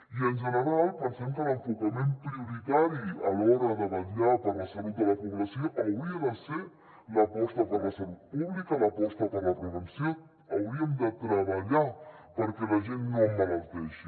i en general pensem que l’enfocament prioritari a l’hora de vetllar per la salut de la població hauria de ser l’aposta per la salut pública l’aposta per la prevenció hauríem de treballar perquè la gent no emmalalteixi